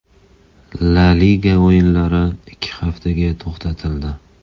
La Liga o‘yinlari ikki haftaga to‘xtatildi.